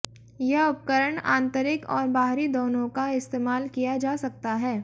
यह उपकरण आंतरिक और बाहरी दोनों का इस्तेमाल किया जा सकता है